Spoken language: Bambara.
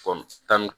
tan ni